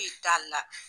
E t'a la